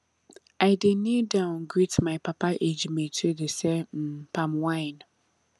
i dey kneel down greet my papa age mate wey dey sell um palm wine